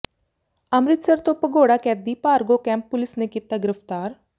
ਅੰਮਿ੍ਤਸਰ ਤੋਂ ਭਗੌੜਾ ਕੈਦੀ ਭਾਰਗੋ ਕੈਂਪ ਪੁਲਿਸ ਨੇ ਕੀਤਾ ਗਿ੍ਫ਼ਤਾਰ